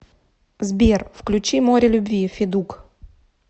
сбер включи море любви федук